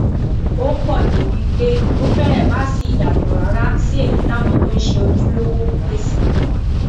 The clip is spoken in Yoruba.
ó pọ débìí pé ó fẹrẹ má ṣí ìyàtọ rárá sí èyí táwọn tó ń ṣe ojúlówó ń pèsè